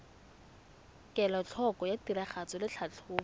kelotlhoko ya tiragatso le tlhatlhobo